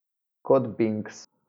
Kot Binks.